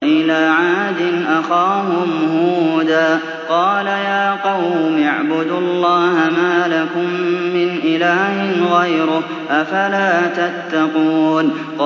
۞ وَإِلَىٰ عَادٍ أَخَاهُمْ هُودًا ۗ قَالَ يَا قَوْمِ اعْبُدُوا اللَّهَ مَا لَكُم مِّنْ إِلَٰهٍ غَيْرُهُ ۚ أَفَلَا تَتَّقُونَ